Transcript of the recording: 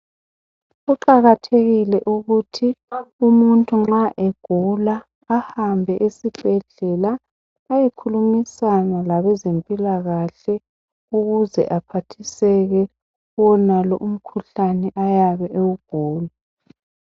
Kuqakathekile ukuthi umuntu nxa egula, ahambe esibhedlela ayekhulumisana labeazemphilakahle ukuze aphathiseke kuwonalo umkhuhlane ayabe ewugula.